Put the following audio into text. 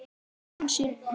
Þetta var því ansi magnað.